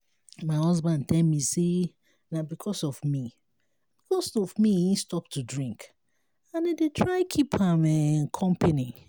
my husband tell me say na because of me because of me he stop to drink and i dey try keep am um company